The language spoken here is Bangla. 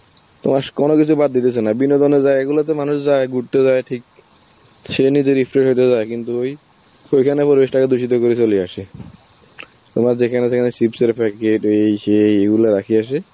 তোমাশ কোনো কিছু বাদ দিতেছে না, বিনোদনের জায়গা গুলোতে মানুষ যায়, ঘুরতে যায় ঠিক, সে নিজের কিন্তু ওই~ ওইখানে পরিবেশ তাকে দূষিত করে চলে আসে. তোমার যেখানে সেখানে chips এর packet, এই সেই ওইগুলা রাখে আসে,